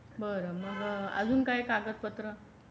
बर मग अजून काय कागदपत्र.